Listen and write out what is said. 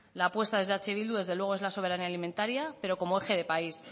la apuesta desde eh bildu desde luego es la soberanía alimentaria pero como eje de país